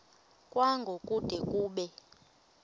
kwango kude kube